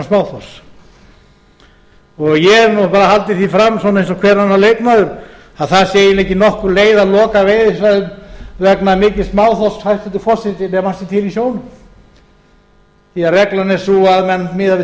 ég hef náttúrlega haldið því fram eins og hver annar leikmaður að það sé eiginlega ekki nokkur leið að loka veiðisvæðum vegna mikils smáþorsks hæstvirtur forseti nema hann sé til í sjónum því að reglan er sú að menn miða við